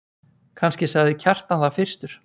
Kannski sagði Kjartan það fyrstur.